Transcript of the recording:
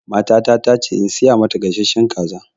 Matata ta ce in siya mata gasashshen kaza